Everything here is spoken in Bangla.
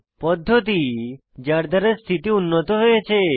পদ্ধতি যার দ্বারা স্থিতি উন্নত হয়েছে